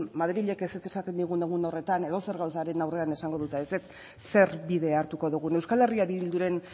madrilek ezetz esaten digun egun horretan edozer gauzaren aurrean esango dute ezetz zer bide hartuko dugun euskal herria bilduren